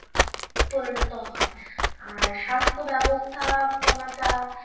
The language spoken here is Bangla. পরিণত হয়, আর সাস্থ্য ব্যবস্থা পনাটা,